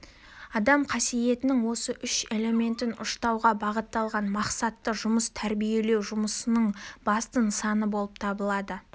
адам қасиетінің осы үш элементін ұштауға бағытталған мақсатты жұмыс тәрбиелеу жұмысының басты нысанасы болып табылады